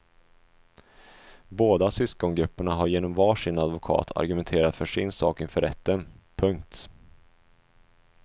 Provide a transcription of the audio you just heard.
Båda syskongrupperna har genom var sin advokat argumenterat för sin sak inför rätten. punkt